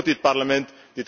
En wat doet dit Parlement?